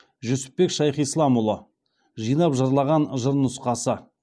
жүсіпбек шайхисыламұлы жинап жырлаған жыр нұсқасы